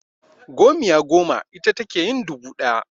Gomiya goma ita take yin dubu ɗaya.